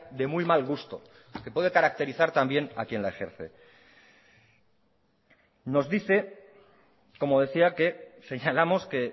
de muy mal gusto que puede caracterizar también a quien la ejerce nos dice como decía que señalamos que